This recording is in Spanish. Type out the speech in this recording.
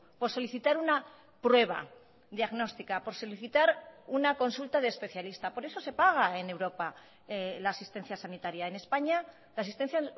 por solicitar una prueba diagnóstica por solicitar una consulta de especialista por eso se paga en europa la asistencia sanitaria en españa la asistencia